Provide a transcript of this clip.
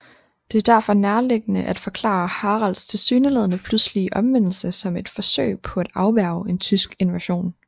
Det er derfor nærliggende at forklare Haralds tilsyneladende pludselige omvendelse som et forsøg på at afværge en tysk invasion